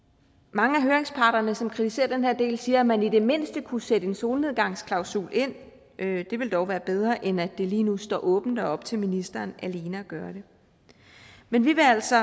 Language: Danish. mange af høringsparterne som kritiserer den her del siger at man i det mindste kunne sætte en solnedgangsklausul ind det ville dog være bedre end at det lige nu står åbent og er op til ministeren alene at gøre det men vi vil altså